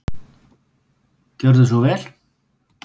Gjörðu svo vel.